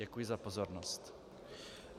Děkuji za pozornost.